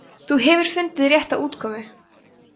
þú hefur fundið rétta útkomu